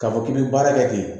K'a fɔ k'i bɛ baara kɛ ten